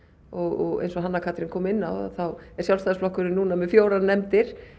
og eins og Hanna Katrín kom inn á þá er Sjálfstæðisflokkurinn núna með fjórum nefndum